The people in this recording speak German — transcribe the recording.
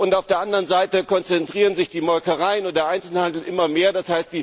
Und auf der anderen Seite konzentrieren sich die Molkereien und der Einzelhandel immer mehr,